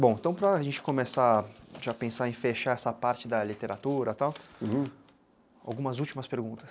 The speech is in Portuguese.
Bom, então para a gente começar, já pensar em fechar essa parte da literatura e tal, uhum, algumas últimas perguntas.